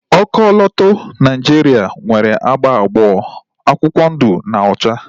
Ọkọlọtọ Naijiria nwere agba abụọ, akwụkwọ ndu na ocha